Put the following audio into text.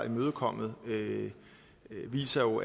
imødekommet viser jo